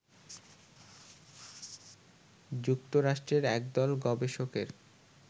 যুক্তরাষ্ট্রের একদল গবেষকের